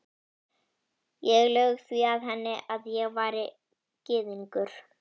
Ég laug því að henni, að ég væri gyðingur